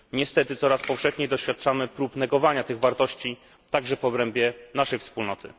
Niestety coraz powszechniej doświadczamy prób negowania tych wartości, także w obrębie naszej Wspólnoty.